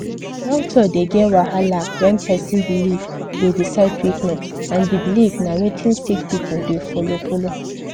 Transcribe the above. doctor dey get wahala when person belief dey decide treatment and the belief na wetin sick pipu dey follow follow